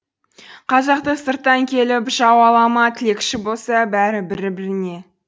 қазақты сырттан келіп жау ала ма тілекші болса бәрі бір біріне